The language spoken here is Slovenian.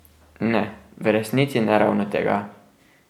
Ne, v resnici ne ravno tega.